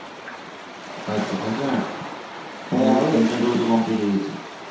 পাইসে. পাইসে না? হ্যাঁ অনেকের টিন টা dose ও complete হয়ে গেছে.